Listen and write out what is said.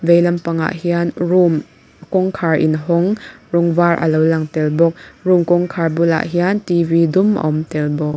vei lampangah hian room kawngkhar in hawng rawng var a lo lang tel bawk room kawngkhar bulah hian t v dum a awm tel bawk.